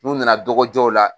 N'u nana dɔgɔjɔw la.